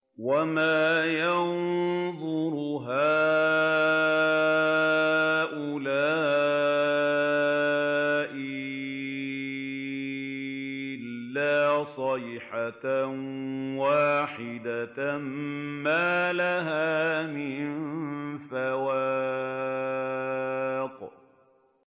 وَمَا يَنظُرُ هَٰؤُلَاءِ إِلَّا صَيْحَةً وَاحِدَةً مَّا لَهَا مِن فَوَاقٍ